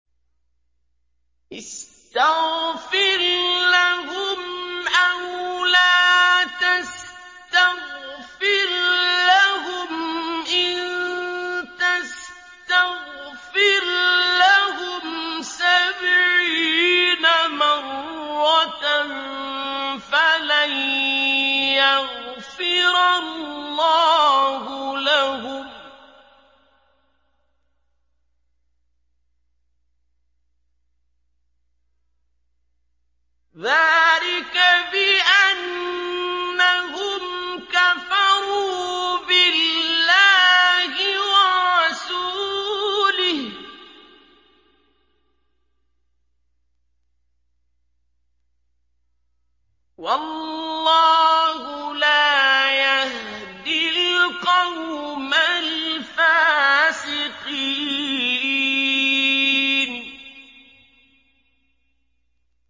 اسْتَغْفِرْ لَهُمْ أَوْ لَا تَسْتَغْفِرْ لَهُمْ إِن تَسْتَغْفِرْ لَهُمْ سَبْعِينَ مَرَّةً فَلَن يَغْفِرَ اللَّهُ لَهُمْ ۚ ذَٰلِكَ بِأَنَّهُمْ كَفَرُوا بِاللَّهِ وَرَسُولِهِ ۗ وَاللَّهُ لَا يَهْدِي الْقَوْمَ الْفَاسِقِينَ